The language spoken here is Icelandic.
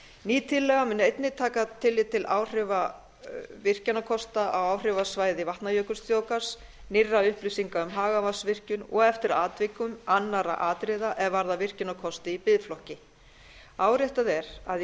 ný tillaga mun einnig taka tillit til áhrifa virkjunarkosta á áhrifasvæði vatnajökulsþjóðgarðs nýrra upplýsinga um hagavatnsvirkjun og eftir atvikum annarra atriða er varða virkjunarkosti í biðflokki áréttað er að í